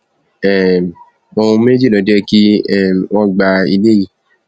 um ohun méjì ló jẹ kí um wọn gba ilé yìí